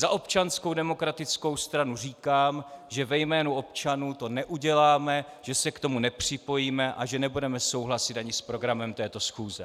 Za Občanskou demokratickou stranu říkám, že ve jménu občanů to neuděláme, že se k tomu nepřipojíme a že nebudeme souhlasit ani s programem této schůze.